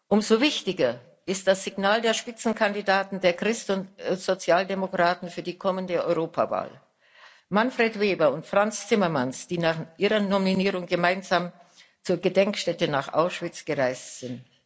Umso wichtiger ist das Signal der Spitzenkandidaten der Christ und Sozialdemokraten für die kommende Europawahl, Manfred Weber und Frans Timmermans, die nach ihrer Nominierung gemeinsam zur Gedenkstätte nach Auschwitz gereist sind.